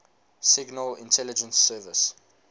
signal intelligence service